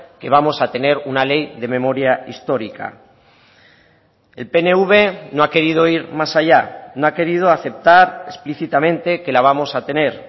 que vamos a tener una ley de memoria histórica el pnv no ha querido ir más allá no ha querido aceptar explícitamente que la vamos a tener